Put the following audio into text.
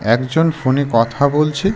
একজন ফোনে কথা বলছে।